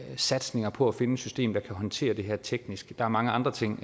satsninger på at finde et system der kan håndtere det her teknisk der er mange andre ting